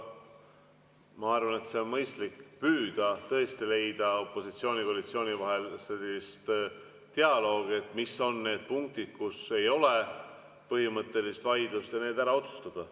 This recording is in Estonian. Ma arvan, et see on mõistlik: püüda tõesti leida opositsiooni ja koalitsiooni vahel sellist dialoogi, et mis on need punktid, kus ei ole põhimõttelist vaidlust, ja need ära otsustada.